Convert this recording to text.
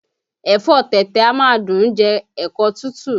Ẹ̀fọ́ ọ tẹ̀tẹ̀ a máa dùn ún jẹ́ ẹ̀kọ́ tútù